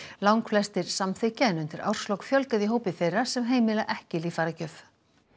langflestir en undir árslok fjölgaði í hópi þeirra sem heimila ekki líffæragjöf